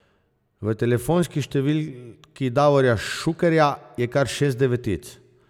V telefonski številki Davorja Šukerja je kar šest devetic.